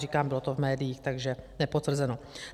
Říkám, bylo to v médiích, takže nepotvrzeno.